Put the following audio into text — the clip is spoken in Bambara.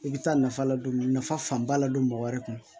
I bɛ taa nafa la don nafa fan ba la don mɔgɔ wɛrɛ kun